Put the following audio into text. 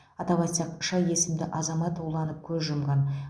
атап айтсақ ш есімді азамат уланып көз жұмған